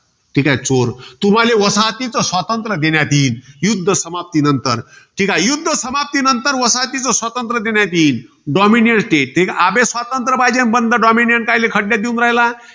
ठीकाय, चोर. तुम्हाले वसाहतीच स्वातंत्र्य देण्यात येईल, युध्द समाप्ती नंतर. युध्द समाप्तीनंतर तुम्हाला वसाहतीच स्वातंत्र्य देण्यात येईल. dominiance state ते. अबे स्वातंत्र्य पाहिजे, मंद dominient कायले खड्यात देऊन राहिला?